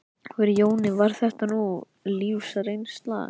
Fyrir Jóni var þetta ný lífsreynsla.